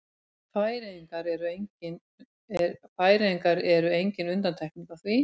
Færeyjar eru engin undantekning á því.